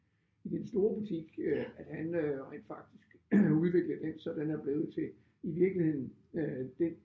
I den store butik øh at han øh rent faktisk udviklede den så den er blevet til i virkeligheden øh den